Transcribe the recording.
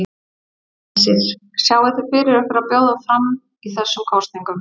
Hersir: Sjáið þið fyrir ykkur að bjóða fram í þessum kosningum?